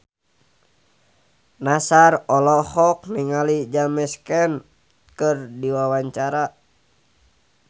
Nassar olohok ningali James Caan keur diwawancara